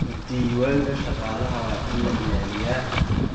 Diiwaanka shaqaalaha waa in la ilaaliyaa.